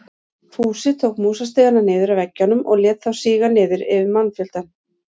Fúsi tók músastigana niður af veggjunum og lét þá síga niður yfir mannfjöldann.